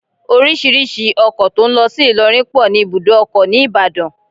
Orísìírísìí ọkọ tó ń lọ sí Ilorin pọ ní ibùdó ọkọ̀ ni Ìbàdàn